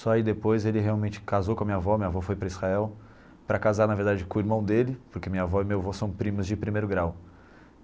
Só aí depois ele realmente casou com a minha avó, minha avó foi para Israel para casar na verdade com o irmão dele, porque minha avó e meu avô são primos de primeiro grau.